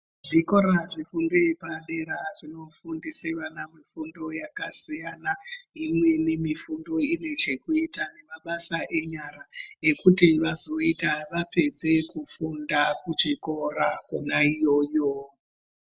Zvikora zvefundo yepadera zvinofundise vana kufundo yakasiyana imweni mifundo ine chekuita nemabasa enyara ekuti vazoita vapedze kufunda kuchikora kwona iyoyo.